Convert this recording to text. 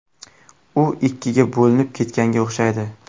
U ikkiga bo‘linib ketganga o‘xshaydi.